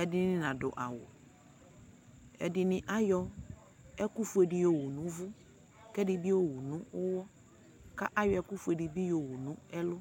edini nadu awu ɛdini ayɔ ɛkufue di yɔwu nu uvu ku ɛdini ayɔwu nu uwɔ ku ayɔ ɛkufue di bi yowu nu ɛlu